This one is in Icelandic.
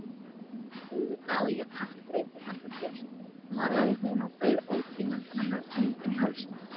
Auðvitað á ég kaffidreitil handa þér malaði hún og beið ótíðindanna með öndina í hálsinum.